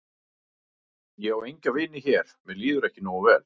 Ég á enga vini hér mér líður ekki nógu vel.